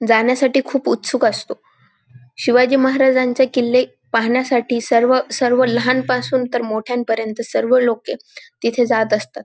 जाण्यासाठी खूप उस्तूक असतो शिवाजी महाराजांचे किल्ले पाहण्यासाठी सर्व सर्व लहान पासून तर मोठ्यांपर्यंत सर्व लोके तिथे जात असतात.